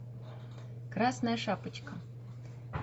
красная шапочка